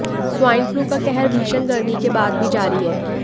swine flu का कहर भीषण गर्मी के बाद भी जारी है